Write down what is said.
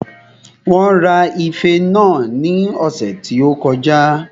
Wón ra ife náà ní ọ̀sẹ̀ tí ó kọjá